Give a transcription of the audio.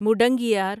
مڈنگیار